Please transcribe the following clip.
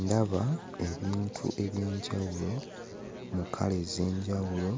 Ndaba ebintu eby'enjawulo mu langi ez'enjawulo